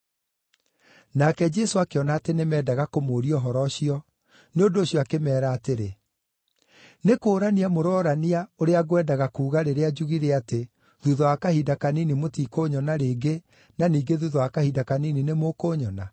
Nake Jesũ akĩona atĩ nĩmendaga kũmũũria ũhoro ũcio, nĩ ũndũ ũcio akĩmeera atĩrĩ, “Nĩ kũũrania mũrorania ũrĩa ngwendaga kuuga rĩrĩa njugire atĩ ‘Thuutha wa kahinda kanini mũtikũnyona rĩngĩ, na ningĩ thuutha wa kahinda kanini nĩmũkũnyona’?